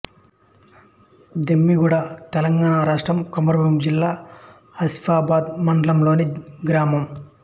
దెమ్మిడిగూడ తెలంగాణ రాష్ట్రం కొమరంభీం జిల్లా ఆసిఫాబాద్ మండలంలోని గ్రామం